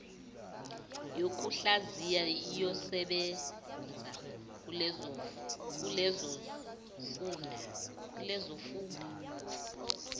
yokuhlaziya iyosebenza kulezofunda